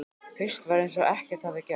Fyrst var eins og ekkert hefði gerst.